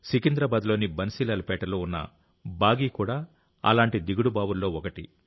సికింద్రాబాద్లోని బన్సీలాల్ పేటలో ఉన్న బాగి కూడా అలాంటి దిగుడుబావుల్లో ఒకటి